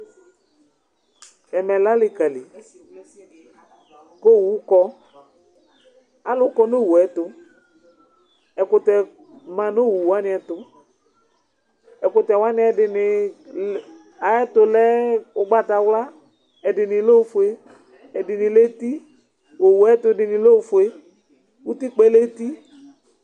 Ɛmɛ lɛ alikali, ku owu kɔ, alu kɔ nu owu yɛ tu, ɛkutɛ ma nu owu yɛ tu, ɛkutɛ wani ɛdini ayɛ tu lɛ ugbata wla, ɛdini lɛ ofue, ɛdini lɛ eti, owu ayu ɛtu dini lɛ ofue utikpa yɛ lɛ eti